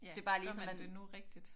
Gør man det nu rigtigt?